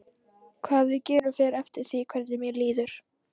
Hvað við gerum fer eftir því hvernig mér líður.